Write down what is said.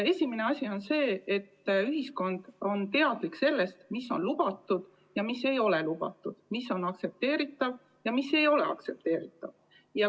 Esimene asi on see, et ühiskond on teadlik sellest, mis on lubatud ja mis ei ole lubatud, mis on aktsepteeritav ja mis ei ole aktsepteeritav.